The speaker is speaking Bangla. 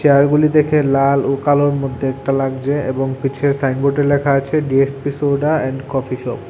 গুলি দেখে লাল ও কালোর মধ্যে একটা লাগছে এবং পিছের সাইনবোর্ডে লেখা আছে D S P soda and coffee shop.